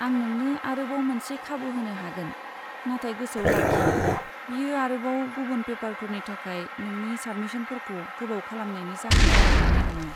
आं नोंनो आरोबाव मोनसे खाबु होनो हागोन, नाथाय गोसोआव लाखि बेयो आरोबाव गुबुन पेपारफोरनि थाखाय नोंनि साबमिसनफोरखौ गोबाव खालामनायनि जाहोन जानो मोन्नाय नङा।